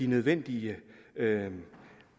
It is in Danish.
nødvendige